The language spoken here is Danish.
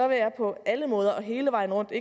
vil jeg på alle måder og hele vejen rundt